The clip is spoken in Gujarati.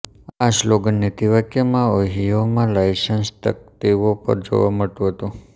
આ સ્લોગન નીતિ વાક્ય ઓહિયોમાં લાયસન્સ તક્તિઓ પર જોવા મળતું હતું